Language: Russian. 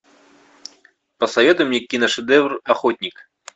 посоветуй мне киношедевр охотник